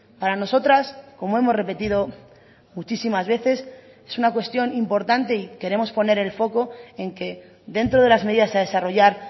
para nosotras como hemos repetido muchísimas veces es una cuestión importante y queremos poner el foco en que dentro de las medidas a desarrollar